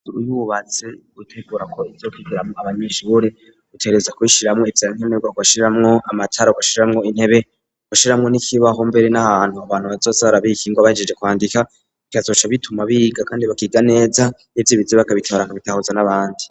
Uyububaze utegura ko izokigiramwo abanyishure utereza kubishiramwo ivyankeme rwago ashiramwo amacara g ashiramwo intebe gashiramwo n'ikibaho mbere n'ahantu abantu bazozarabiki ngo bahijije kwandika ikazoca bituma biga, kandi bakiga neza n'ivyo ibizi bakabitabaraka bitahuza n'abandi.